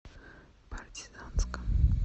партизанском